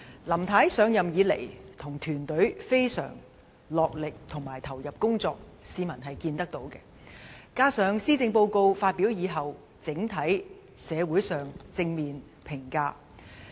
林太自上任以來，與其團隊非常落力及投入工作，市民是看得到的；而施政報告發表之後，整體上亦得到社會正面的評價。